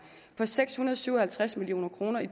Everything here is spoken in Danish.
på seks hundrede og syv og halvtreds million kroner i